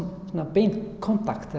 beinn kontakt